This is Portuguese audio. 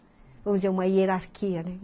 Hoje é uma hierarquia, né?